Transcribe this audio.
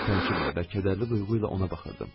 Mən təəccüblə və kədərli duyğu ilə ona baxırdım.